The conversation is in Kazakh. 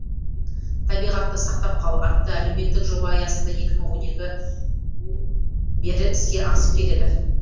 табиғатты сақтап қал атты әлеуметтік жоба аясында екі мың он екі бері іске асып келеді